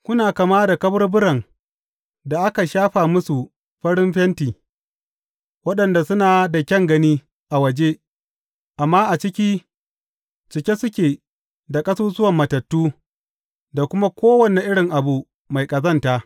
Kuna kama da kaburburan da aka shafa musu farin fenti, waɗanda suna da kyan gani a waje, amma a ciki, cike suke da ƙasusuwan matattu da kuma kowane irin abu mai ƙazanta.